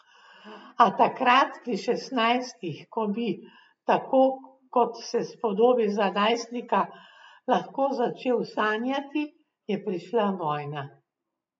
A takrat, pri šestnajstih, ko bi, tako kot se spodobi za najstnika, lahko začel sanjati, je prišla vojna.